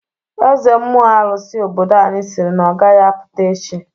Eze mmụọ arụsị obodo anyị siri na ọgaghi apụta echi.